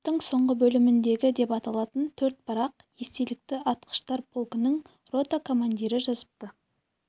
кітаптың соңғы бөліміндегі деп аталатын төрт парақ естелікті атқыштар полкінің рота командирі жазыпты